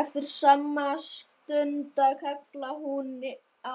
Eftir skamma stunda kallaði hún á